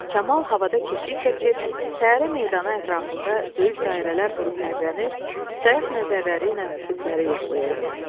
Kamal havada keşiy çəkir, təyyarə meydanı ətrafında böyük dairələr vurub hərələnir, sayaq nəzərləri ilə üfüqləri yoxlayırdı.